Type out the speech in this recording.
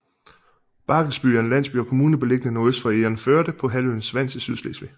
Barkelsby er en landsby og kommune beliggende nordøst for Egernførde på halvøen Svans i Sydslesvig